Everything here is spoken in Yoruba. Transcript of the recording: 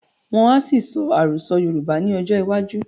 Wọ́n á ṣì sọ Àròsọ́ Yorùbá ni ọjọ́ iwájú